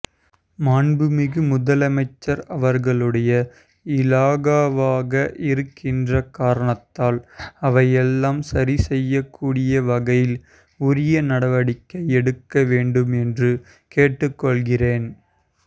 மாண்புமிகு முதலமைச்சர் அவர்களுடைய இலாகாவாக இருக்கின்ற காரணத்தால் அவையெல்லாம் சரிசெய்யக்கூடிய வகையில் உரிய நடவடிக்கை எடுக்க வேண்டும் என்று கேட்டுக்கொள்கிறேன்